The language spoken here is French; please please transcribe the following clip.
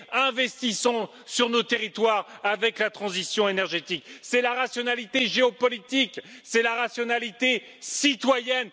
Investissons dans nos territoires avec la transition énergétique, c'est cela la rationalité géopolitique, c'est cela la rationalité citoyenne.